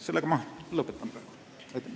Sellega ma praegu lõpetan.